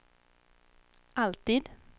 alltid